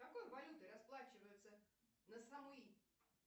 какой валютой расплачиваются на самуи